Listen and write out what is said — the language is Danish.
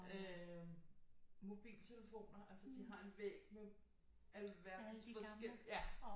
Øh mobiltelefoner altså de har en væg med alverdens forskellige ja